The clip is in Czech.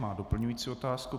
Má doplňující otázku.